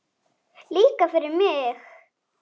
Líka fyrir mig!